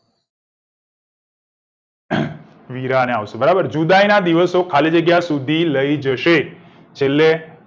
વીરાને આવશે બરાબર જુદાઈના દિવસો તો ખાલી જગ્યા સુધી લઇ જશે છેલ્લે